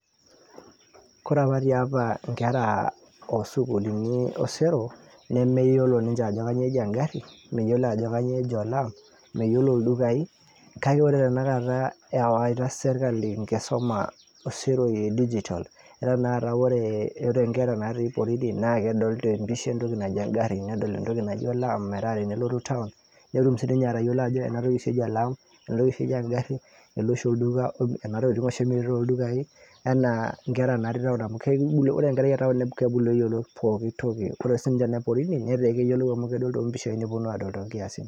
Kore apa tiapa inkera osukuulini osero, nemeyiolo ninche ajo kanyioo eji egarri, meyiolo ajo kanyioo eji olaam, meyiolo ildukai. Kake ore tanakata ewaita sirkali enkisuma oseroi digital, etaa tanakata ore nkera natii porini, na kedol tepisha entoki naji egarri, nedol entoki naji olaam, metaa tenelotu town, netum sinye atayiolo ajo enatoki oshi eji olaam, enatoki oshi eji egarri, ele oshi olduka kuna tokiting oshi emiri toldukai, enaa nkera natii town amu ore nkera e town na kebulu eyiolo pooki toki. Ore sinche ne porini, netaa keyiolou amu kedol tompishai neponu adol tonkiasin.